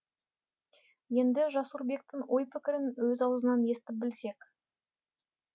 енді жасурбектің ой пікірін өз аузынан естіп білсек